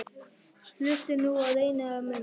Hlustiði nú og reynið að muna